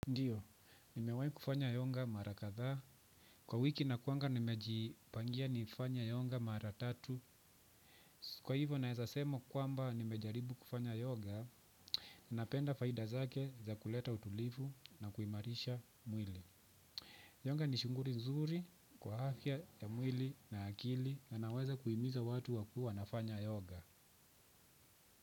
Ndiyo, nimewai kufanya yoga mara kadhaa. Kwa wiki na kuwa nimejipangia nifanye yoga mara tatu. Kwa hivyo naeza sema kwamba nimejaribu kufanya yoga, napenda faida zake za kuleta utulivu na kuimarisha mwili. Yoga ni shughuli nzuri kwa afya ya mwili na akili na naweza kuimiza watu wakuwe wanafanya yoga.